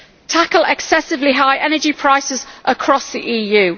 Tackle excessively high energy prices across the EU.